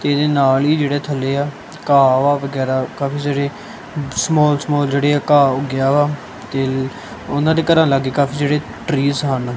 ਤੇ ਇਹਦੇ ਨਾਲ ਹੀ ਜਿਹੜੇ ਥੱਲੇ ਆ ਘਾਹ ਵਾ ਵਗੈਰਾ ਕਾਫੀ ਸਾਰੇ ਸਮਾਲ ਸਮਾਲ ਜਿਹੜੇ ਘਾਹ ਉਗਿਆ ਵਾ ਤੇ ਉਹਨਾਂ ਦੇ ਘਰਾਂ ਲਾਗੇ ਕਾਫੀ ਜਿਹੜੇ ਟਰੀਸ ਹਨ।